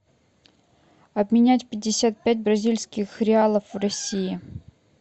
обменять пятьдесят пять бразильских реалов в россии